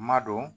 Ma don